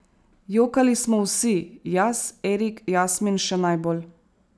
Jokali smo vsi, jaz, Erik, Jasmin še najbolj.